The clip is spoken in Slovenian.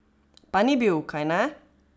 Pa ni bil, kajne?